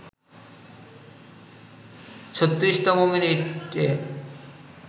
৩৬তম মিনিটে